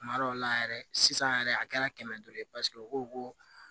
Kuma dɔw la yɛrɛ sisan yɛrɛ a kɛra kɛmɛ duuru ye u ko ko